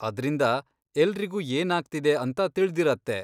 ಅದ್ರಿಂದ ಎಲ್ರಿಗೂ ಏನಾಗ್ತಿದೆ ಅಂತ ತಿಳ್ದಿರತ್ತೆ.